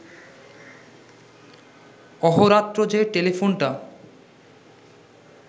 অহোরাত্র যে টেলিফোনটা